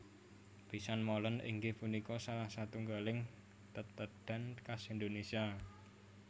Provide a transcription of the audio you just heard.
Pisang Molen inggih punika salah satunggaling tetedhan khas Indonésia